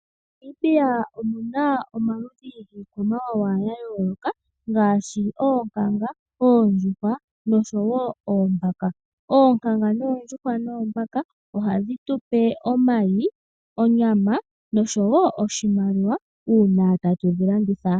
MoNamibia omuna omaludhi giikwamawawa ya yooloka ngaashi oonkanga, oondjuhwa noshowo oombaka. Oonkanga noondjuhwa noombaka ohadhi tu pe omayi, onyama noshowo oshimaliwa uuna tatu dhi landitha.